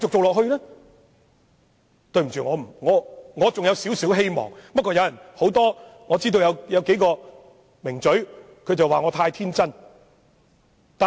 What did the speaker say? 我對此還有少許期望，儘管有數位"名嘴"認為我太天真。